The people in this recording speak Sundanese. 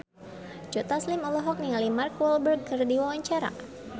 Joe Taslim olohok ningali Mark Walberg keur diwawancara